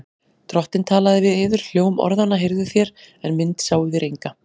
Drottinn talaði við yður. hljóm orðanna heyrðuð þér, en mynd sáuð þér enga.